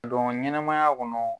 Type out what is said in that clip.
I ka don ɲɛnɛmaya kɔnɔ.